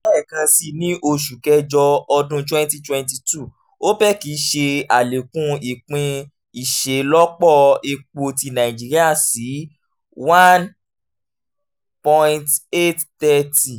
lẹẹkansi ni oṣu kẹjọ ọdun twenty twenty two opec ṣe alekun ipin iṣelọpọ epo ti nàìjíríà si one point eight three zero